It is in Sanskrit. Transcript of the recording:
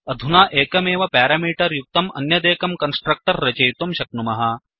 अधुना एकमेव प्यारामीटर् युक्तं अन्यदेकं कन्स्ट्रक्टर् रचयितुं शक्नुमः